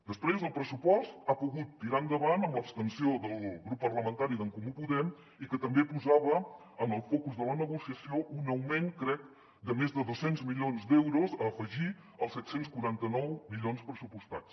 després el pressupost ha pogut tirar endavant amb l’abstenció del grup parlamentari d’en comú podem que també posava en el focus de la negociació un augment crec de més de dos cents milions d’euros a afegir als set cents i quaranta nou milions pressupostats